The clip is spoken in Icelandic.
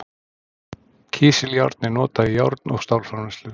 kísiljárn er notað í járn og stálframleiðslu